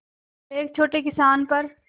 एक छोटे किसान पर